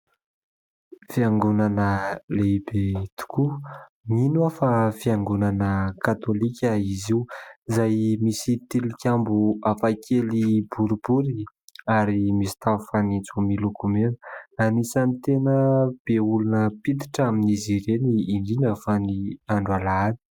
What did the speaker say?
Fiangonanan lehibe tokoa. Mino aho fa fiangonana katolika izy io izay misy tilikambo hafa kely boribory ary misy tafo fanitso miloko mena. Anisany tena be olona mpiditra amin'izy ireny indrindra fa ny andro alahady.